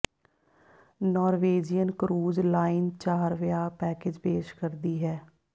Norwegian cruise line ਚਾਰ ਵਿਆਹ package ਪੇਸ਼ ਕਰਦੀ ਹੈ